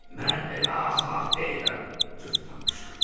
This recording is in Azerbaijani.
Mən elə axmaq deyiləm, cırtdan qışqırdı.